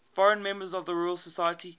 foreign members of the royal society